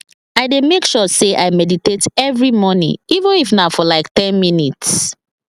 i dey make sure say i meditate every morning even if na for like ten minutes